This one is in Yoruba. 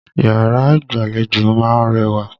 Yàrá ìgbàlejò ma ń rẹwà.